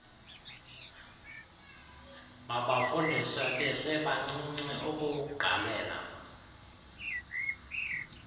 mabafundiswe besebancinci ukuwugqalela